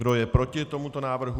Kdo je proti tomuto návrhu?